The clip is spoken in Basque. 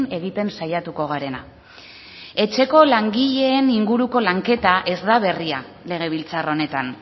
egiten saiatuko garena etxeko langileen inguruko lanketa ez da berria legebiltzar honetan